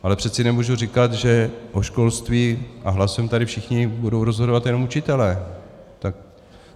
Ale přece nemohu říkat, že o školství, a hlasujeme tady všichni, budou rozhodovat jenom učitelé.